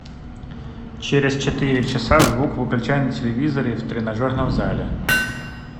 через четыре часа звук выключай на телевизоре в тренажерном зале